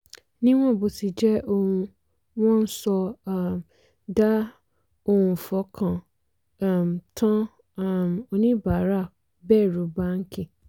níwọ̀n bó ti jẹ́ ohun wọ́n ń sọ um dà ohun fọkàn um tán um oníbàárà bẹ̀rù báńkì.